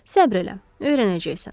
Səbr elə, öyrənəcəksən.